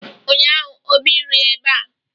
Ụnyaahụ obi rie eba